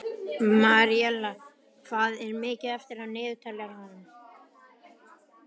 Maríella, hvað er mikið eftir af niðurteljaranum?